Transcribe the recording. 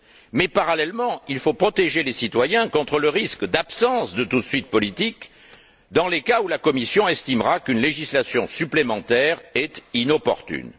Mais, parallèlement, il faut protéger les citoyens contre le risque d'absence de toute suite politique dans les cas où la Commission estimera qu'une législation supplémentaire est inopportune.